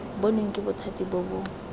bonweng ke bothati bo bo